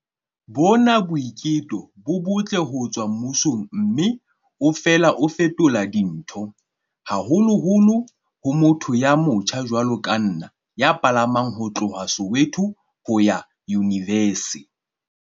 Bona ke boiteko bo botle ho tswa mmusong mme o fela o fetola dintho, haholoholo ho motho ya motjha jwalo ka nna ya palamang ho tloha Soweto ho ya Yunivesi